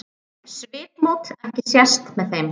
Svipmót ekki sést með þeim.